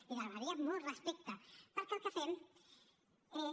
li demanaria molt respecte perquè el que fem és